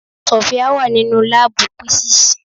Sofia wà nínú láàbù písíìsì.